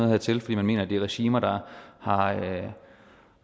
her til fordi man mener det er regimer der